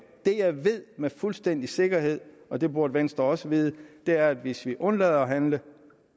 det jeg ved med fuldstændig sikkerhed og det burde venstre også vide er at hvis vi undlader at handle